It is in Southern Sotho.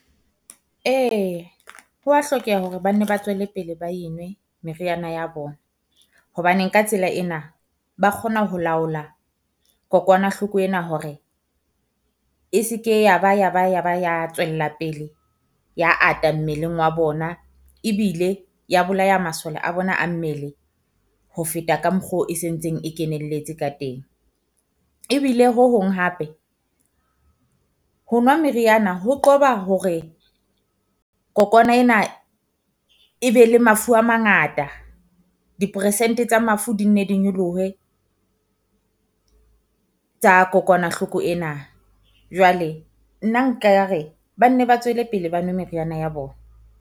Ee, ho wa hlokeha hore ba nne ba tswele pele ba e nwe meriana ya bona, hobaneng ka tsela ena ba kgona ho laola kokwanahloko ena hore e se ke ya ba ya ba ya ba ya tswella pele ya ata mmeleng wa bona. Ebile ya bolaya masole a bona a mmele ho feta ka mokgo e se ntseng e kenelletse ka teng. Ebile ho hong hape ho nwa meriana ho qoba hore kokwana ena e be le mafu a mangata, dipersente tsa mafu di nne di nyolohe tsa kokwanahloko ena. Jwale nna nka re ba nne ba tswele pele ba nwe meriana ya bona.